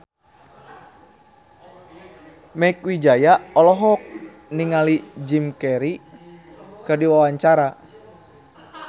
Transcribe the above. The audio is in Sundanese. Mieke Wijaya olohok ningali Jim Carey keur diwawancara